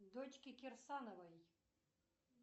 дочки кирсановой